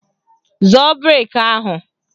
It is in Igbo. Zọọ brek ahụ!